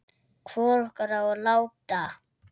Hvor okkar á að láta